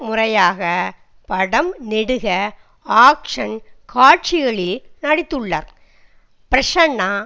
முதல்முறையாக படம் நெடுக ஆக்ஷ்ன் காட்சிகளில் நடித்துள்ளார் பிரசன்னா